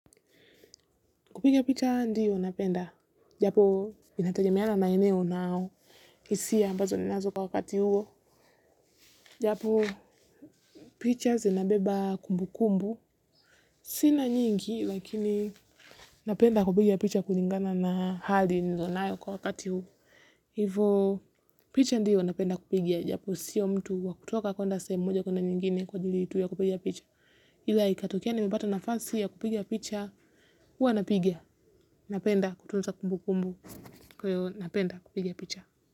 Kupigia picha ndiyo napenda. Japo, inatagemeana na maeneo nao. Isia ambazo ninazo kwa wakati huo. Japo, picha zinabeba kumbu kumbu. Sina nyingi, lakini napenda kupigia picha kuningana na hali nizonayo kwa wakati huo. Hivo, picha ndiyo napenda kupiga. Japo, sio mtu wa kutoka kuenda sehemu moja kuenda nyingine kwa ajili tu ya kupiga picha. Ila ikatokea nimepata nafasi ya kupiga picha, hua napiga. Napenda, kutunza kumbukumbu. Kwa ivo napenda kupiga picha.